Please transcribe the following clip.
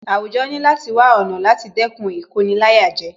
Àwùjọ ní láti wá ọ̀nà láti dẹ́kun Ìkoni-láyàjẹ